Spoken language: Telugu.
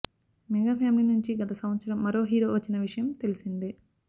మెగా ఫ్యామిలీ నుంచి గత సంవత్సరం మరో హీరో వచ్చిన విషయం తెలిసిందే